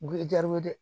Gili jaw ye